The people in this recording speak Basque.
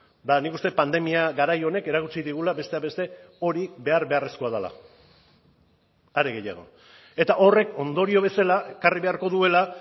eta nik uste dut pandemia garai honek erakutsi digula besteak beste hori behar beharrezkoa dela are gehiago eta horrek ondorio bezala ekarri beharko duela